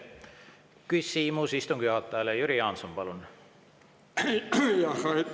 Küsimus istungi juhatajale, Jüri Jaanson, palun!